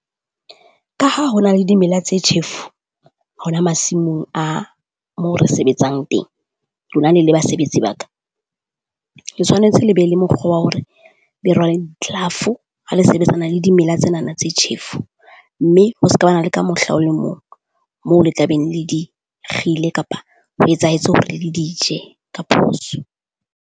Ka ha ho na le dimela tse tjhefu hona masimong a mo re sebetsang teng, lona le le basebetsi ba ka. Ke tshwanetse le be le mokgwa wa hore be rwale di-glove-o ha le sebetsana le dimela tsenana tse tjhefo, mme ho ska ba na le ka mohla o le mong mo le tla beng le di kgile kapa ho etsahetse hore le di je ka phoso.